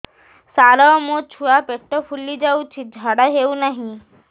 ସାର ମୋ ଛୁଆ ପେଟ ଫୁଲି ଯାଉଛି ଝାଡ଼ା ହେଉନାହିଁ